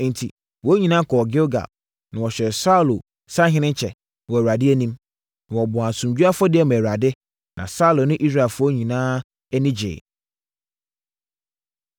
Enti, wɔn nyinaa kɔɔ Gilgal, na wɔhyɛɛ Saulo sahenekyɛ wɔ Awurade anim. Na wɔbɔɔ asomdwoeɛ afɔdeɛ maa Awurade, na Saulo ne Israelfoɔ nyinaa ani gyeeɛ.